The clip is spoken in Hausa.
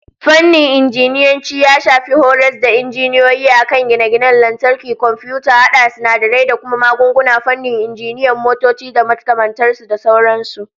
Fannin Injiniyanci ya shafi horas da injiniyoyi a kan gine-gine, lantarki, komfiyuta, hada sinadarai da kuma magunguna, fannin injinan motoci da makamantar su, da sauran su